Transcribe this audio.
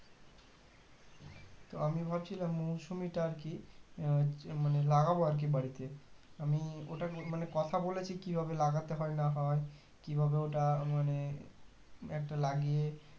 তো আমি ভাবছিলাম মুসম্বি টা আর কি আহ মানে লাগাবো আরকি বাড়িতে আমি ওটার মানে কথা বলেছি কি ভাবে লাগাতে হয় না হয় কিভাবে ওটা মানে একটা লাগিয়ে